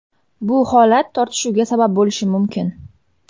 Bu holat tortishuvga sabab bo‘lishi mumkin.